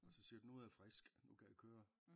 Og så siger nu er jeg frisk nu kan jeg køre